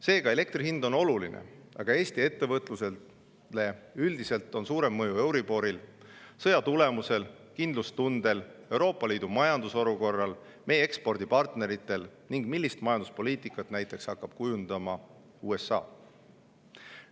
Seega, elektri hind on oluline, aga Eesti ettevõtlusele on üldiselt suurem mõju euriboril, sõja tulemusel, kindlustundel, Euroopa Liidu majandusolukorral, meie ekspordipartneritel ning sellel, millist majanduspoliitikat näiteks hakkab kujundama USA.